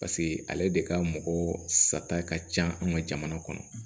paseke ale de ka mɔgɔ sata ka ca an ka jamana kɔnɔ